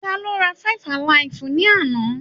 Tá ló rá five-alaifu ni àna?